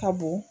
Ka bon